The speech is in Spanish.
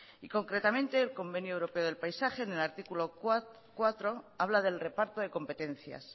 y concretamente el convenio europeo del paisaje en el artículo cuatro habla del reparto de competencias